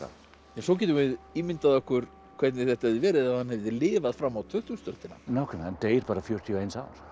svo getum við ímyndað okkur hvernig þetta hefði verið ef hann hefði lifað fram á tuttugustu öldina nákvæmlega hann deyr bara fjörutíu og eins árs